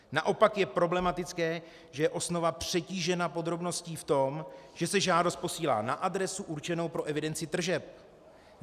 Naopak je problematické, že je osnova přetížena podrobností v tom, že se žádost posílá na adresu určenou pro evidenci tržeb.